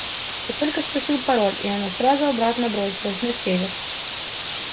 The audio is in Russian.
я только спросил пароль и оно сразу обратно бросилось на север